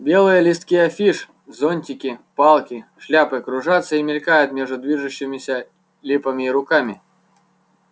белые листки афиш зонтики палки шляпы кружатся и мелькают между движущимися липами и руками